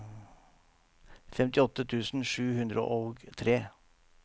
femtiåtte tusen sju hundre og tre